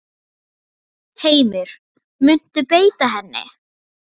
Heimir: Muntu beita henni?